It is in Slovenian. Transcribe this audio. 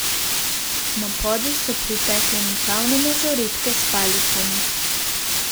Na podij so pritekle mikavne mažoretke s palicami.